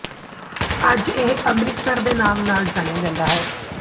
ਅੱਜ ਇਹ ਅੰਮ੍ਰਿਤਸਰ ਦੇ ਨਾਮ ਨਾਲ ਜਾਣਿਆ ਜਾਂਦਾ ਹੈ